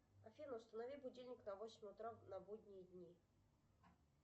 афина установи будильник на восемь утра на будние дни